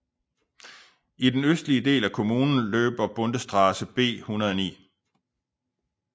I den østlige del af kommunen løber Bundesstraße B 109